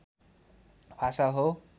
भाषा हो